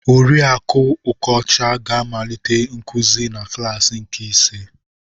Oriakụ Okocha ga-amalite nkuzi na klaasi nke ise.